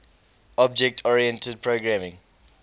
object oriented programming